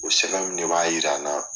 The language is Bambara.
O sɛbɛn ninnu de b'a jira n na